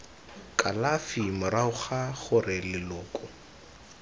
kalafi morago ga gore leloko